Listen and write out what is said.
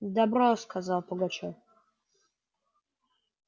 добро сказал пугачёв